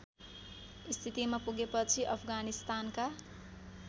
स्थितिमा पुगेपछि अफगानिस्तानका